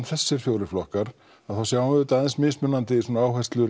þessir fjórir flokkar þá sjáum við mismunandi